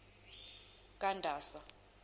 kandasa